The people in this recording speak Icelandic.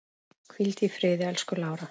Hvíldu í friði, elsku Lára.